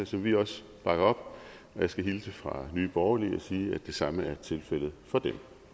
som vi også bakker op og jeg skal hilse fra nye borgerlige og sige at det samme er tilfældet for dem